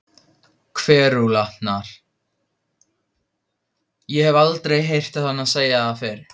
Kverúlantar- ég hef aldrei heyrt hana segja það fyrr.